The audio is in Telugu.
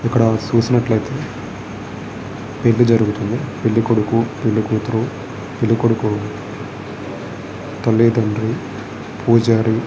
క్కడ చూసినట్లయితే పెళ్లి జరుగుతుంది పెళ్ళికొడుకు పెళ్ళికూతురు పెళ్ళికొడుకు తల్లి తండ్రి పూజారి --